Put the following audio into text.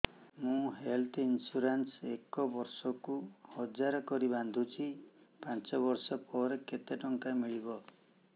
ମୁ health insurance ଏକ ବର୍ଷକୁ ହଜାର କରି ବାନ୍ଧୁଛି ପାଞ୍ଚ ବର୍ଷ ପରେ କେତେ ଟଙ୍କା ମିଳିବ